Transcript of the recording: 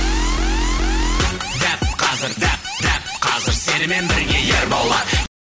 дәп қазір дәп дәп қазір сенімен бірге ерболат